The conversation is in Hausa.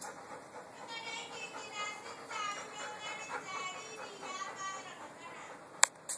Duka dangin gida sun taru don ganin jariri ya fara magana.